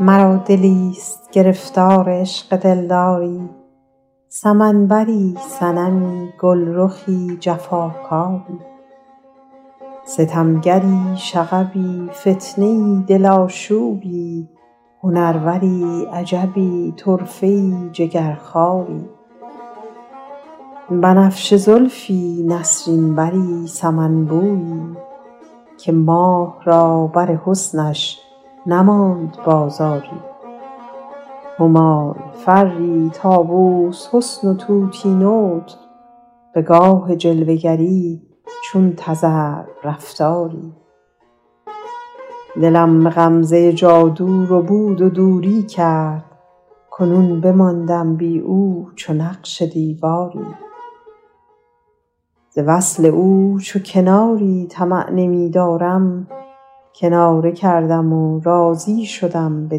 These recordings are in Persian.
مرا دلیست گرفتار عشق دلداری سمن بری صنمی گلرخی جفاکاری ستمگری شغبی فتنه ای دل آشوبی هنروری عجبی طرفه ای جگرخواری بنفشه زلفی نسرین بری سمن بویی که ماه را بر حسنش نماند بازاری همای فری طاووس حسن و طوطی نطق به گاه جلوه گری چون تذرو رفتاری دلم به غمزه جادو ربود و دوری کرد کنون بماندم بی او چو نقش دیواری ز وصل او چو کناری طمع نمی دارم کناره کردم و راضی شدم به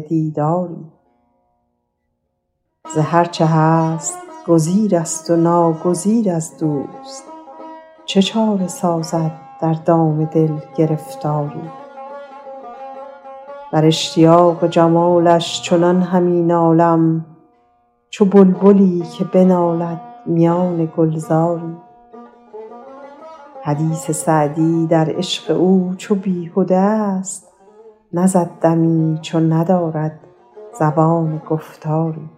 دیداری ز هر چه هست گزیر است و ناگزیر از دوست چه چاره سازد در دام دل گرفتاری در اشتیاق جمالش چنان همی نالم چو بلبلی که بماند میان گلزاری حدیث سعدی در عشق او چو بیهده ا ست نزد دمی چو ندارد زبان گفتاری